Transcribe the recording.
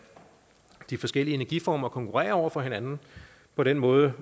de forskellige energiformer konkurrere over for hinanden på den måde